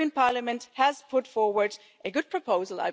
The European Parliament has put forward a good proposal.